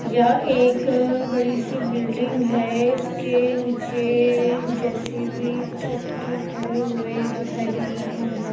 यह एक बड़ी सी बिल्डिंग है इसके नीचे जे_सी_बी ट्रैक्टर खड़े हुए दिखाई दे रहे हैं।